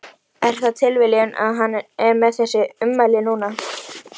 Er það tilviljun að hann er með þessi ummæli núna?